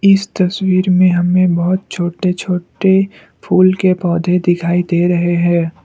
इस तस्वीर में हमें बहोत छोटे छोटे फूल के पौधे दिखाई दे रहे हैं।